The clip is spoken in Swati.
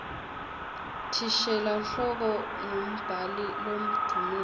thishela nhloko umgumbhali loduumile